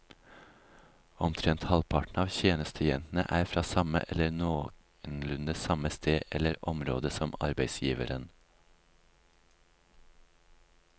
Omtrent halvparten av tjenestejentene er fra samme eller noenlunde samme sted eller område som arbeidsgiveren.